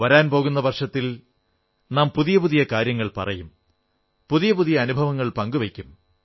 വരാൻ പോകുന്ന വർഷത്തിൽ നാം പുതിയ പുതിയ കാര്യങ്ങൾ പറയും പുതിയ പുതിയ അനുഭവങ്ങൾ പങ്കു വയ്ക്കും